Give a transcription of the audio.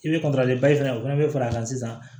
I bɛ fana o fana bɛ fara kan sisan